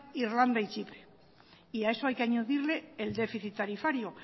irlanda y chipre y a eso hay que añadirle el déficit tarifario